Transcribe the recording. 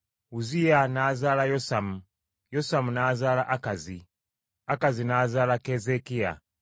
Uzziya n’azaala Yosamu, Yosamu n’azaala Akazi, Akazi n’azaala Keezeekiya.